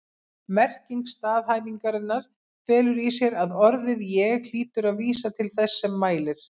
Merking staðhæfingarinnar felur í sér að orðið ég hlýtur að vísa til þess sem mælir.